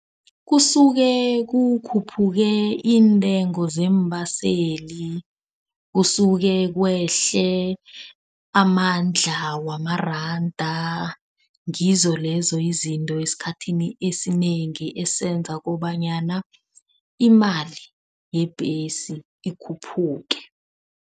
Kusuke kukhuphuka iintengo zeembaseli. Kusuke kwehle amandla wamaranda. Ngizo lezo izinto esikhathini esinengi esenza kobanyana imali yebhesi ikhuphuke.